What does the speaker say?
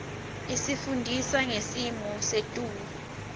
isifundisa ngesimo setulu